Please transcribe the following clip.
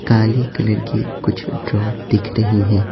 काले कलर की कुछ ड्रॉर दिख रही हैं।